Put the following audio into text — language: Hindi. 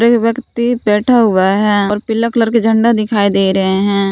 एक व्यक्ति बैठा हुआ है और पीला कलर के झंडा दिखाई दे रहे हैं।